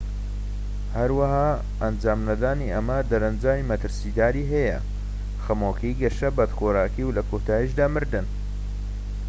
هەروەها ئەنجام نەدانی ئەمە دەرەنجامی مەترسیداری هەیە خەمۆکی گەشە بەدخۆراکی و لە کۆتاییدا مردنیش